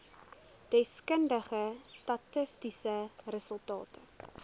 deskundige statistiese resultate